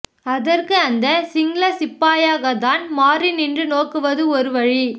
அதற்கு அந்த சிங்கள சிப்பாயாக தான் மாறி நின்று நோக்குவது ஒரு வழி